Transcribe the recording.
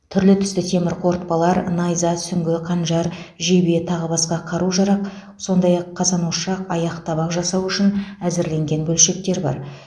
түрлі түсті темір қорытпалар найза сүңгі қанжар жебе тағы басқа қару жарақ сондай ақ қазан ошақ аяқ табақ жасау үшін әзірленген бөлшектер бар